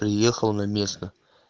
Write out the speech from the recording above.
приехал на место